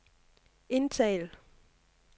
indtal